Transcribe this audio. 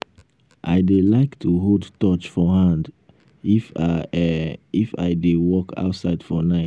i dey like to hold torch for hand um if i um if i dey walk outside for night